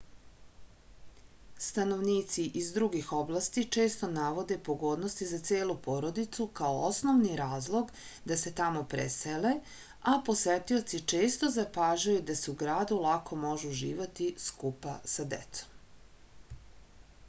stanovnici iz drugih oblasti često navode pogodnosti za celu porodicu kao osnovni razlog da se tamo presele a posetioci često zapažaju da se u gradu lako može uživati skupa sa decom